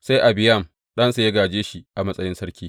Sai Abiyam ɗansa ya gāje shi a matsayin sarki.